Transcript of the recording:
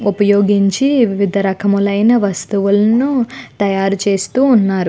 ఉపయోగించి వివిధ రకములైన వస్తువులను తయారుచేస్తూ ఉన్నారు.